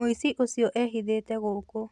Mũici ũcio ehithĩte gũkũ